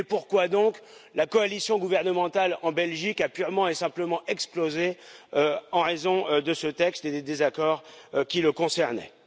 Et pourquoi donc la coalition gouvernementale en Belgique a t elle purement et simplement explosé en raison de ce texte et des désaccords qui le concernaient?